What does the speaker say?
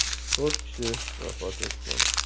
To‘rt kishi vafot etgan.